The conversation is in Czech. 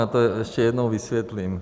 Já to ještě jednou vysvětlím.